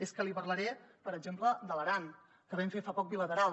és que li parlaré per exemple de l’aran que vam fer fa poc bilateral